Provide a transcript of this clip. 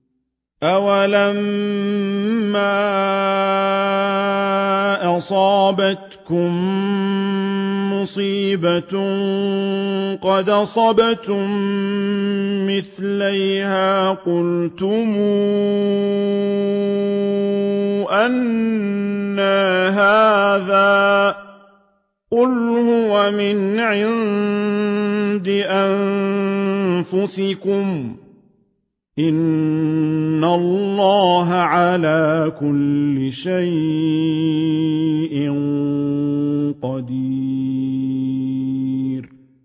أَوَلَمَّا أَصَابَتْكُم مُّصِيبَةٌ قَدْ أَصَبْتُم مِّثْلَيْهَا قُلْتُمْ أَنَّىٰ هَٰذَا ۖ قُلْ هُوَ مِنْ عِندِ أَنفُسِكُمْ ۗ إِنَّ اللَّهَ عَلَىٰ كُلِّ شَيْءٍ قَدِيرٌ